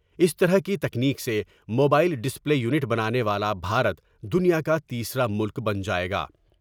اس طرح کی تکنیک سے موبائل ڈسپلے یونٹ بنانے والا بھارت دنیا کا تیسرا ملک بن جائے گا ۔